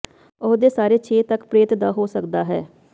ਉਹ ਦੇ ਸਾਰੇ ਛੇ ਤੱਕ ਪ੍ਰੇਤ ਦਾ ਹੋ ਸਕਦਾ ਹੈ